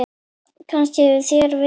Kannist þér við hana?